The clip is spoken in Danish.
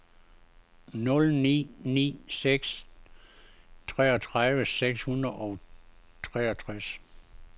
nul ni ni seks treogtredive seks hundrede og treogtres